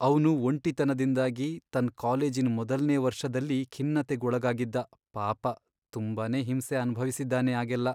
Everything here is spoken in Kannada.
ಅವ್ನು ಒಂಟಿತನದಿಂದಾಗಿ ತನ್ ಕಾಲೇಜಿನ್ ಮೊದಲ್ನೇ ವರ್ಷದಲ್ಲಿ ಖಿನ್ನತೆಗ್ ಒಳಗಾಗಿದ್ದ, ಪಾಪ.. ತುಂಬಾನೇ ಹಿಂಸೆ ಅನ್ಭವ್ಸಿದಾನೆ ಆಗೆಲ್ಲ.